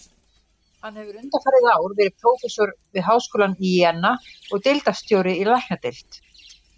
Hann hefur undanfarið ár verið prófessor við háskólann í Jena og deildarstjóri í læknadeild.